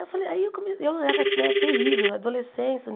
Eu falei aí eu come era né terrível, adolescência.